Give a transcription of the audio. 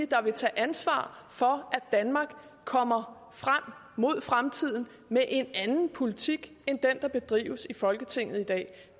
der vil tage ansvar for at danmark kommer frem mod fremtiden med en anden politik end den der bedrives i folketinget i dag